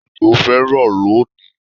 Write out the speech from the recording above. Òjò fẹ́ rọ̀ lónìí